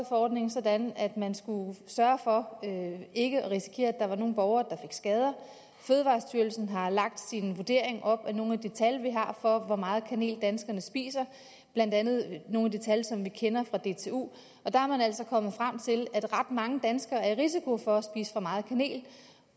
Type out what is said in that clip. forordningen sådan at man skulle sørge for ikke at risikere at der var nogle borgere der skader fødevarestyrelsen har lagt sin vurdering op ad nogle af de tal vi har for hvor meget kanel danskerne spiser blandt andet nogle af de tal som vi kender fra dtu og der er man altså kommet frem til at ret mange danskere har risiko for at spise for meget kanel